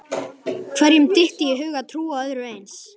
Hverjum dytti í hug að trúa öðru eins?